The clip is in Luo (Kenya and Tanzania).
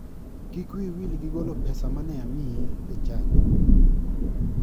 Kik wiyi wil gi golo pesa mane amiyi e chadi.